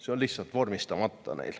See on neil lihtsalt vormistamata.